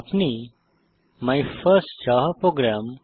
আপনি my first Java program